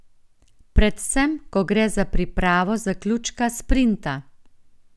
Predvsem ko gre za pripravo zaključka sprinta.